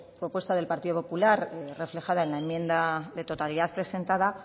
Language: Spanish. propuesta del partido popular reflejada en la enmienda de totalidad presentada